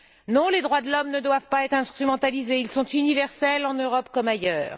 Non, les droits de l'homme ne doivent pas être instrumentalisés, ils sont universels en Europe comme ailleurs.